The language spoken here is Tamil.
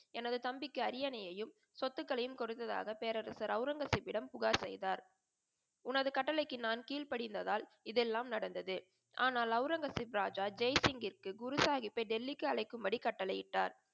எனது தம்பிக்கு அரியணையும், சொத்துகளையும் கொடுத்ததாக பேரரசர் ஆவுரங்கசீப்பிடம் புகார் செய்தார். உனது கட்டளைக்கு நான் கீழ் படிந்ததால் இதெல்லாம் நடந்தது. ஆனால் அவுரங்கசீப் ராஜா ஜெய் சிங்க்ருக்கு குரு சாஹிபை டெல்லிக்கு அழைக்கும் படி கட்டளை இட்டார்.